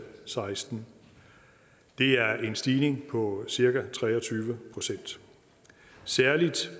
seksten det er en stigning på cirka tre og tyve procent særlig